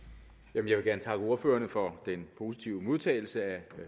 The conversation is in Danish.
jeg vil gerne takke ordførerne for den positive modtagelse af